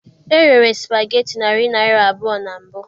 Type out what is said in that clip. E rere spageti narị naira abụọ na mbụ.